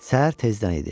Səhər tezdən idi.